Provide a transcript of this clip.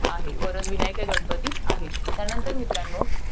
आहे. वरदविनायक हे गणपती आहे. त्यानंतर मित्रांनो,